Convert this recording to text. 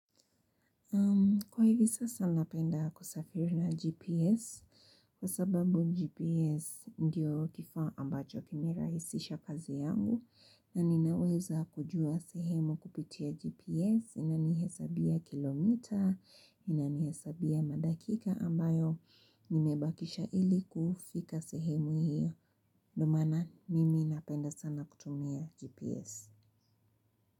Kwa hivi sasa napenda kusafiri na GPS kwa sababu GPS ndiyo kifaa ambacho kimirahisisha kazi yangu na ninaweza kujua sehemu kupitia GPS inanihesabia kilometre inanihesabia madakika ambayo nimebakisha ili kufika sehemu hiyo ndo maana mimi napenda sana kutumia GPS.